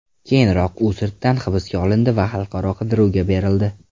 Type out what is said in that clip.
Keyinroq u sirtdan hibsga olindi va xalqaro qidiruvga berildi.